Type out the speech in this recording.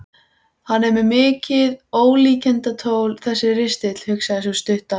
Hann er mikið ólíkindatól þessi ristill, hugsaði sú stutta.